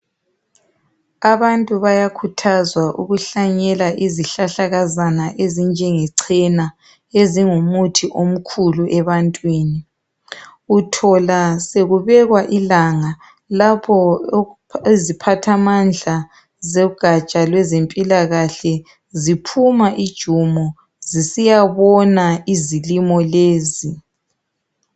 Abantu bayakhuthazwa ukuhlanyela izihlahlakazana ezinjenge chena ezingumuthi omkhulu ebantwini. Uthola sokubekwa ilanga lapho iziphathamandla zogaja lwezempilakahle ziphuma ijumo zisiyabona izilimo lezi.